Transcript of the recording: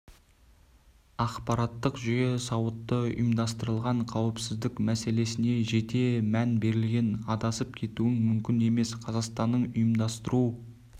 ақпараттық жүйе сауатты ұйымдастырылған қауіпсіздік мәселесіне жете мән берілген адасып кетуің мүмкін емес қазақстанның ұйымдастыру